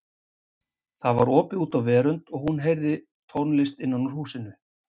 Það var opið út á verönd og hún heyrði tónlist innan úr húsinu.